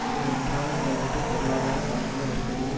இவை ஒன்றாக செயல்பட்டு பொருளாதார சமூக நெருக்கடியின்